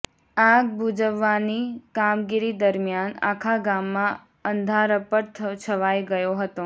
આગ બૂઝવવાની કામગીરી દરમિયાન આખા ગામમાં અંધારપટ છવાઈ ગયો હતો